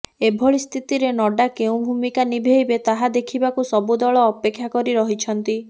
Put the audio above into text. ଏଭଳି ସ୍ଥିତିରେ ନଡ୍ଡା କେଉଁ ଭୂମିକା ନିଭେଇବେ ତାହା ଦେଖିବାକୁ ସବୁ ଦଳ ଅପେକ୍ଷା କରି ରହିଛନ୍ତି